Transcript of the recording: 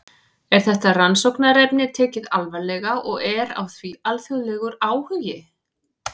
Er þetta rannsóknarefni tekið alvarlega og er á því alþjóðlegur áhugi?